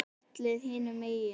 Á fjallið hinum megin.